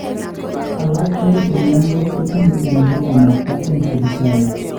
Alak en chemyontos kotinye uindo konakta en Sipitali